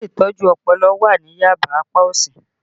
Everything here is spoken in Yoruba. Ilé Ìtọ́jú Ọpọlọ wà ní Yaba apá òsì